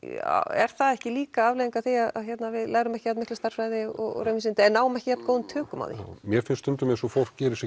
er það ekki líka afleiðing af því að við lærum ekki jafn mikla stærðfræði og raunvísindi eða náum ekki jafn góðum tökum á því mér finnst stundum eins og fólk geri sér